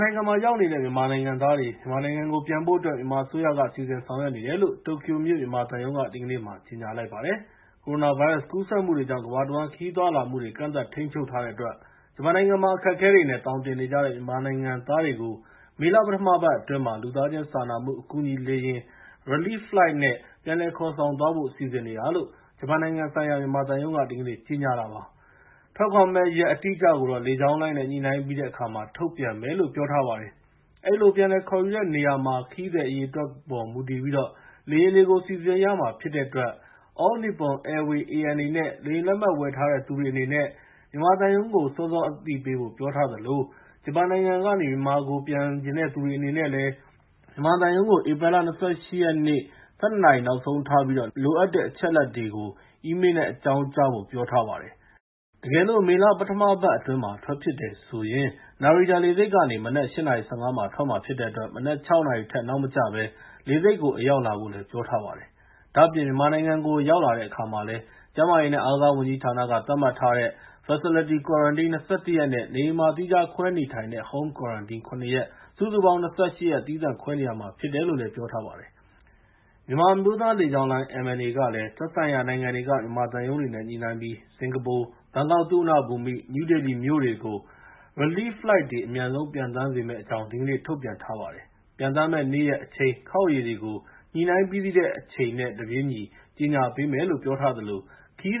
နိုင်ငံမှာရောက်နေတဲ့ မြန်မာနိုင်ငံသားတွေ မြန်မာနိုင်ငံကို ပြန်ဖို့အတွက် မြန်မာအစိုးရအနေနဲ့ စီစဉ်ဆောင်ရွက်နေတယ်လို့ တိုကျိုမြို့ မြန်မာသံရုံးက ဒီကနေ့ ကြေညာလိုက်ပါတယ်။ ကိုရိုနာဗိုင်းရပ်စ် ကူးစက်မှုတွေကြောင့် ကမ္ဘာတဝန်း ခရီးသွားလာမှုတွေကို ကန့်သတ်ထိန်းချုပ်ထားတဲ့အတွက် ဂျပန်နိုင်ငံမှာ အခက်အခဲတွေနဲ့ သောင်တင်နေကြတဲ့ မြန်မာနိုင်ငံသားတွေကို မေလ ပထမပတ်အတွင်းမှာ လူသားချင်းစာနာမှု အကူအညီလေယာဉ် (Relief Flight) နဲ့ ပြန်လည်ခေါ်ဆောင်သွားဖို့ စီစဉ်နေတာလို့ ဂျပန်နိုင်ငံဆိုင်ရာ မြန်မာသံရုံးက ဒီကနေ့ ကြေညာတာပါ။ ထွက်ခွာမယ့်ရက် အတိအကျကိုတော့ လေကြောင်းလိုင်းနဲ့ ညှိနှိုင်းပြီးတဲ့အခါမှာ ထုတ်ပြန်မယ်လို့ ပြောထားပါတယ်။ ဒီလို ပြန်လည်ခေါ်ယူတဲ့နေရာမှာ ခရီးသည်အရေအတွက်ပေါ် မူတည်ပြီး လေယာဉ်တွေကို စီစဉ်ရမှာ ဖြစ်တဲ့အတွက် All Nippon Airways (ANA) နဲ့ လေယာဉ်လက်မှတ် ဝယ်ထားတဲ့သူတွေ အနေနဲ့ မြန်မာသံရုံးကို စောစောအသိပေးဖို့ ပြောထားသလို ဂျပန်နိုင်ငံကနေ မြန်မာနိုင်ငံကို ပြန်ချင်တဲ့သူတွေ အနေနဲ့လည်း မြန်မာသံရုံးကို ဧပြီလ ၂၈ ရက်နေ့ ၁၂ နာရီ နောက်ဆုံးထားပြီး လိုအပ်တဲ့ အချက်အလက်တွေကို အီးမေးလ်နဲ့ အကြောင်းကြားဖို့ ပြောထားပါတယ်။ တကယ်လို့ မေလ ပထမပတ်အတွင်းမှာ ထွက်ဖြစ်တယ်ဆိုရင် Narita လေဆိပ်ကနေ မနက် ၈ နာရီ ၁၅ မှာ ထွက်မှာဖြစ်တဲ့အတွက် မနက် ၆ နာရီထက် နောက်မကျဘဲ လေဆိပ်ကို အရောက်လာဖို့လည်း ပြောထားပါတယ်။ ဒါ့အပြင် မြန်မာနိုင်ငံကို ရောက်တဲ့အခါမှာလည်း ကျန်းမာရေးနဲ့ အားကစားဝန်ကြီးဌာနက သတ်မှတ်ထားတဲ့အတိုင်း Facility Quarantine ၂၁ ရက်နဲ့ နေအိမ်မှာ သီးခြားခွဲနေထိုင်တဲ့ (Home Quarantine) ၇ ရက် စုစုပေါင်း ၂၈ ရက် သီးသန့်ခွဲနေရမှာဖြစ်တယ်လို့ ပြောထားပါတယ်။ မြန်မာအမျိုးသားလေကြောင်းလိုင်း (MNA) ကလည်း သက်ဆိုင်ရာ နိုင်ငံတွေက မြန်မာသံရုံးတွေနဲ့ ညှိနှိုင်းပြီး စင်ကာပူ၊ ဘန်ကောက် သုဝဏ္ဏဘူမိ၊ နယူးဒေလီမြို့တွေကို Relief Flight တွေ အမြန်ဆုံး ပျံသန်းပေးမယ့်အကြောင်း ဒီကနေ့ ထုတ်ပြန်ပါတယ်။ ပျံသန်းမယ့် နေ့ရက်၊ အချိန်၊ ခေါက်ရေတွေကို ညှိနှိုင်းပြီးစီးတဲ့အခါ အချိန်နဲ့တပြေးညီ ကြေညာပေးမယ်လို့ ပြောထားသလို ခရီး